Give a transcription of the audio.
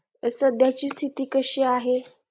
एक सध्याची स्थिती कशी आहे